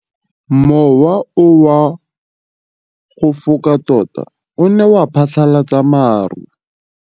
Mowa o wa go foka tota o ne wa phatlalatsa maru.